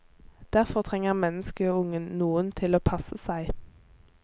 Derfor trenger menneskeungen noen til å passe seg.